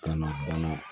Ka n'o bana